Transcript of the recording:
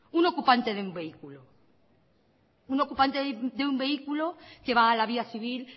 un ocupante de un vehículo que va a la vía civil